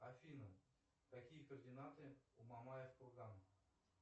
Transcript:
афина какие координаты у мамаев кургана